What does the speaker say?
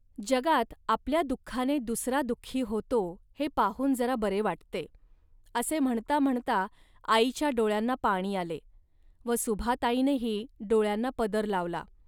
जगात आपल्या दुःखाने दुसरा दुःखी होतो, हे पाहून जरा बरे वाटते. असे म्हणता म्हणता आईच्या डोळ्यांना पाणी आले व सुभाताईनेही डोळ्यांना पदर लावला